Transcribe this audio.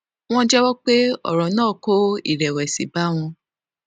wón jéwó pé òrò náà kó ìrèwèsì bá àwọn